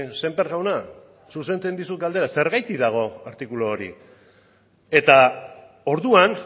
sémper jauna zuzentzen dizut galdera zergatik dago artikulu hori eta orduan